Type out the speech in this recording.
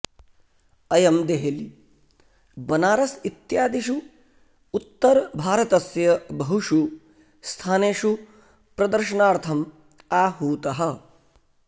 अयं देहली बनारस् इत्यादिषु उत्तरभारतस्य बहुषु स्थानेषु प्रदर्शनार्थम् आहूतः